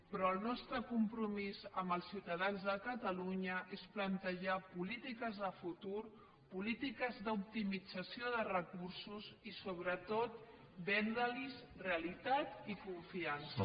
però el nostre compromís amb els ciutadans de catalunya és plantejar polítiques de futur polítiques d’optimització de recursos i sobretot vendre’ls realitat i confiança